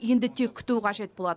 енді тек күту қажет болады